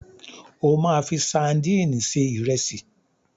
O máa fi sadíìnì se ìrẹsì.